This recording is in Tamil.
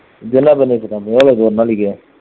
இதெல்லாம் பண்ணிட்டு இருக்காங்க எவ்வளவு ஒரு நாளைக்கு